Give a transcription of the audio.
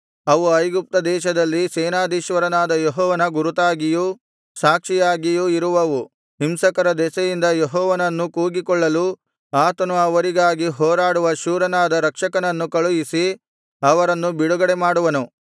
ಅವು ಐಗುಪ್ತ ದೇಶದಲ್ಲಿ ಸೇನಾಧೀಶ್ವರನಾದ ಯೆಹೋವನ ಗುರುತಾಗಿಯೂ ಸಾಕ್ಷಿಯಾಗಿಯೂ ಇರುವವು ಹಿಂಸಕರ ದೆಸೆಯಿಂದ ಯೆಹೋವನನ್ನು ಕೂಗಿಕೊಳ್ಳಲು ಆತನು ಅವರಿಗಾಗಿ ಹೋರಾಡುವ ಶೂರನಾದ ರಕ್ಷಕನನ್ನು ಕಳುಹಿಸಿ ಅವರನ್ನು ಬಿಡುಗಡೆ ಮಾಡುವನು